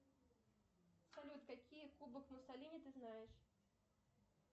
салют какие кубок муссолини ты знаешь